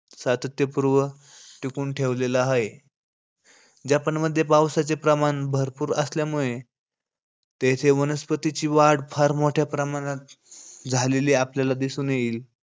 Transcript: सातत्यपूर्व टिकवून ठेवलेला हाये. जपानमध्ये पावसाचे प्रमाण भरपूर असल्यामुळे तेथे वनस्पतींची वाढ फार मोठ्या प्रमाणात झालेली आपल्याला दिसून येईन.